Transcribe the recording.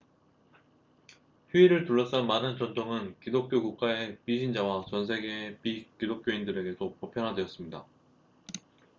휴일을 둘러싼 많은 전통은 기독교 국가의 비신자와 전 세계의 비기독교인들에게도 보편화되었습니다